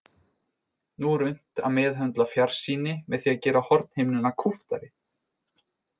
Nú er unnt að meðhöndla fjarsýni með því að gera hornhimnuna kúptari.